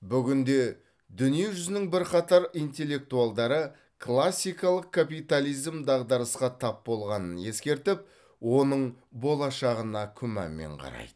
бүгінде дүние жүзінің бірқатар интеллектуалдары классикалық капитализм дағдарысқа тап болғанын ескертіп оның болашағына күмәнмен қарайды